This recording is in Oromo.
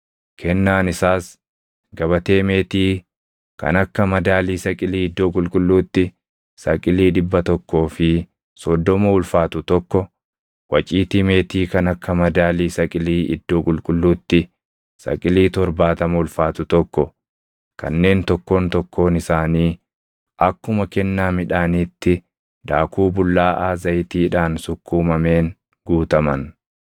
Kennaan isaas gabatee meetii kan akka madaalii saqilii iddoo qulqulluutti saqilii dhibba tokkoo fi soddoma ulfaatu tokko, waciitii meetii kan akka madaalii saqilii iddoo qulqulluutti saqilii torbaatama ulfaatu tokko kanneen tokkoon tokkoon isaanii akkuma kennaa midhaaniitti daakuu bullaaʼaa zayitiidhaan sukkuumameen guutaman,